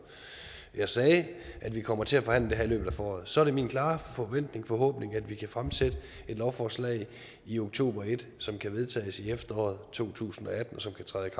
jeg sagde at vi kommer til at forhandle det her i løbet af foråret så er det min klare forventning og forhåbning at vi kan fremsætte et lovforslag i oktober som kan vedtages i efteråret to tusind og atten og som kan træde i